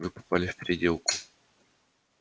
вы попали в переделку